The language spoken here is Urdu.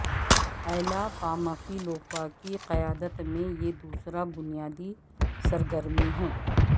ایلا پامفیلوفا کی قیادت میں یہ دوسرا بنیادی سرگرمی ہے